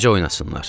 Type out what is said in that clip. Necə oynasınlar?